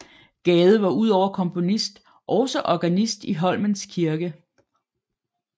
Gade var udover komponist også organist i Holmens Kirke